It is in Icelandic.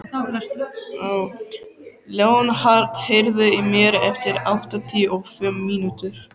Leonhard, heyrðu í mér eftir áttatíu og fimm mínútur.